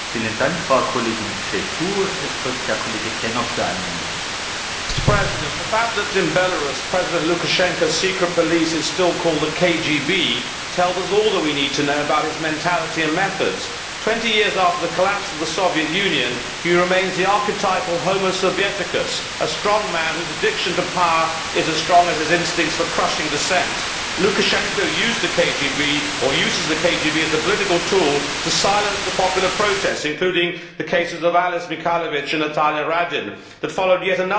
Mr President, the fact that in Belarus, President Lukashenko's secret police is still called the KGB tells us all that we need to know about his mentality and methods. Twenty years after the collapse of the Soviet Union, he remains the archetypal a strong man whose addiction to power is as strong as his instincts for crushing dissent. Lukashenko used the KGB, or uses the KGB, as a political tool to silence the popular protest, including the cases of Ales Mikhalevich and Natalia Radina, that followed yet another disappointingly rigged presidential election in December last year.